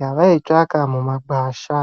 yavaitsvaka mumakwasha.